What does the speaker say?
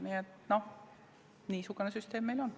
Nii et niisugune süsteem meil on.